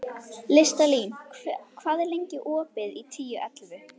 Listalín, hvað er lengi opið í Tíu ellefu?